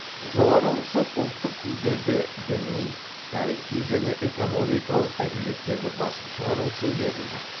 жоғары рұқсат ұлттық тілдерде діни тарихи және экономикалық әдебиеттерді басып шығару үшін берілді